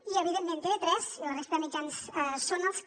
i evidentment tv3 i la resta de mitjans són els que